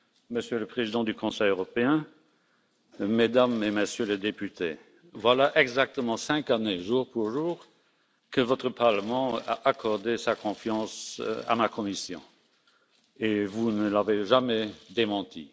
Monsieur le Président du Conseil européen, Mesdames et Messieurs les députés, voilà exactement cinq années jour pour jour que votre Parlement a accordé sa confiance à ma Commission, et vous ne l'avez jamais démentie.